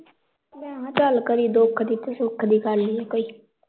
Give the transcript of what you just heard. ਭੈਣਾਂ ਗੱਲ ਕਰੀ ਦੁੱਖ ਦੀ ਤੇ ਸੁਖ ਦੀ ਕਰ ਲਈਐ ਕੋਈ